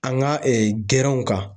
An ka gɛrɛnw kan